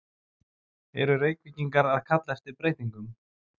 Eru Reykvíkingar að kalla eftir breytingum?